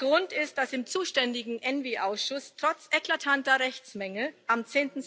Der Grund ist, dass im zuständigen ENVI Ausschuss trotz eklatanter Rechtsmängel am